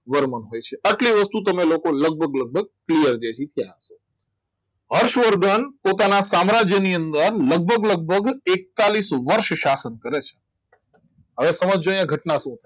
વરમાં હોય છે એટલી વસ્તુ તમને લગભગ લગભગ clear થઈ ગયો છે હર્ષવર્ધન પોતાના સામ્રાજ્યની અંદર લગભગ લગભગ એકતાલીસ વર્ષ કરે છે હવે સમજજો અહીંયા ઘટના શું છે